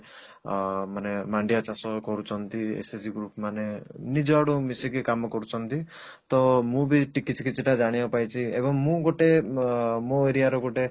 ଅ ମାନେ ମାଣ୍ଡିଆ ଚାଷ କରୁଛନ୍ତି SHG group ମାନେ ନୁଜ ଆଡୁ ମିସିକି କାମ କରୁଛନ୍ତି ତ ମୁଁ ବି କିଛି କିଛିଟା ଜାଣିବାକୁ ପାଇଛି ଏବଂ ମୁଁ ଗୋଟେ ଅ ମୋ area ର ଗୋଟେ